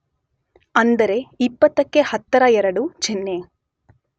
ಅಂದರೆ ಇಪ್ಪತ್ತಕ್ಕೆ ಹತ್ತರ ಎರಡು ಚಿಹ್ನೆ